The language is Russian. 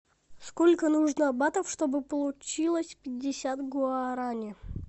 сколько нужно батов чтобы получилось пятьдесят гуарани